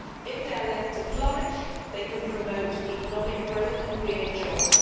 If they are left to flourish they can promote economic growth and create jobs.